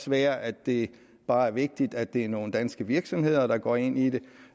være at det bare er vigtigt at det er nogle danske virksomheder der går ind i det